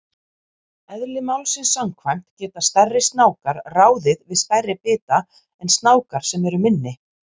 Eðli málsins samkvæmt geta stærri snákar ráðið við stærri bita en snákar sem eru minni.